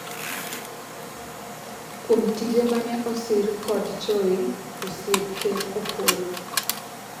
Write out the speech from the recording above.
kuom tije mane osir kod Choi, osiep ker Opollo